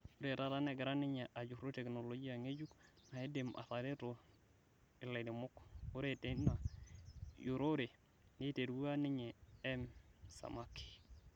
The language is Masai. Ore tata negira ninye ajuru teknologia ng'ejuk naidim ataretoi lairemok. Ore teina jurore neiterua ninye M-Samaki.